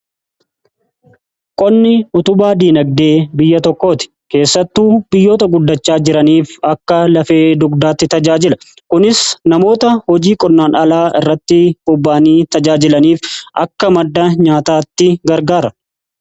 Qonni utubaa dinagdee biyya tokkooti. Keessattuu biyyoota guddachaa jiraniif akka lafee dugdaatti tajaajila. Kunis namoota hojii qonnaan alaa irratti bobba'anii tajaajilaniif akka madda nyaataatti gargaara.